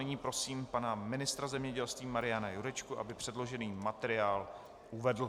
Nyní prosím pana ministra zemědělství Mariana Jurečku, aby předložený materiál uvedl.